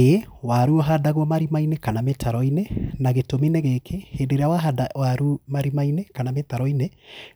ĩĩ, waru ũhandagwo marima-inĩ kana mĩtaro-inĩ na gĩtũmi nĩ gĩkĩ; hĩndĩ ĩrĩa wahanda waru marima-inĩ kana mĩtaro-inĩ,